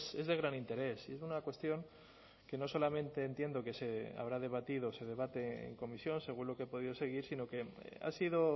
es de gran interés y de una cuestión que no solamente entiendo que se habrá debatido se debate en comisión según lo que he podido seguir sino que ha sido